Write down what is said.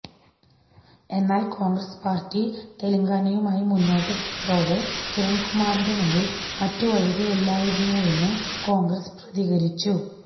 എന്നാല് കോണ്ഗ്രസ് പാര്ട്ടി തെലങ്കാനയുമായി മുന്നോട്ടു പോയതോടെ കിരണ്കുമാറിന്റെ മുന്നില് മറ്റുവഴികളില്ലായിരുന്നെന്ന് കോണ്ഗ്രസ് പ്രതികരിച്ചു